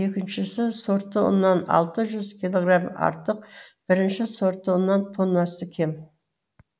екіншісі сортты ұннан алты жүз килограмм артық бірінші сортты ұннан тоннасы кем